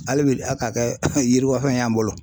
Hali bi Ala k'a kɛ yiriwa fɛn y'an bolo